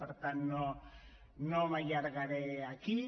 per tant no m’allargaré aquí